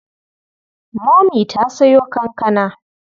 Momi ta sayo kankana.